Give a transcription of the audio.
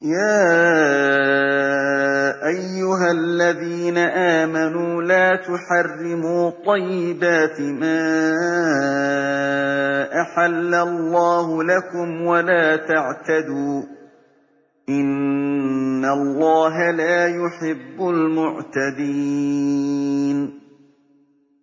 يَا أَيُّهَا الَّذِينَ آمَنُوا لَا تُحَرِّمُوا طَيِّبَاتِ مَا أَحَلَّ اللَّهُ لَكُمْ وَلَا تَعْتَدُوا ۚ إِنَّ اللَّهَ لَا يُحِبُّ الْمُعْتَدِينَ